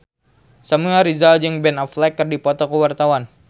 Samuel Rizal jeung Ben Affleck keur dipoto ku wartawan